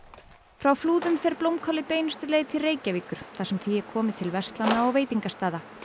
frá Flúðum fer blómkálið beinustu leið til Reykjavíkur þar sem því er komið til verslana og veitingastaða